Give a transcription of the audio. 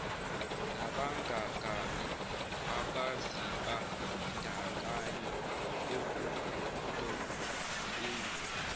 nabangababi abazibandakanye ekudobeni